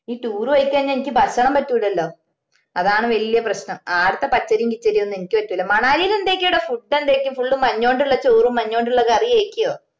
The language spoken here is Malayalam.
ഈ tour പോയി കയിഞ്ഞാ ഇനിക്ക് ഭക്ഷണം പറ്റൂല്ലാല്ലോ അതാണ് വലിയ പ്രശ്‍നം ആടത്തെ പച്ചരിയും കിച്ചരിയൊന്നും എനക്ക് പറ്റുല്ല മണാലിയിൽ എന്തൊക്കെയാടോ food എന്താരിക്കും full മഞ്ഞോണ്ടുള്ള ചോറും മഞ്ഞോണ്ടുള്ള കറിയുആരിക്കുവോ